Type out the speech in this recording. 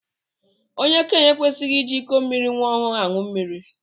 Okenye ekwesighi iji ịkọ mmiri nwa ọhụụ aṅụ mmiri.